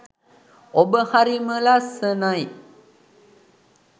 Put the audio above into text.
ඔබ හරිම ලස්සනයි.